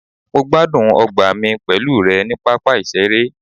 mo gbádùn ọgbà mi pẹlu rẹ ni papa iṣere